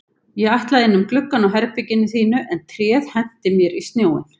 Ég ætlaði inn um gluggann á herberginu þínu en tréð henti mér í snjóinn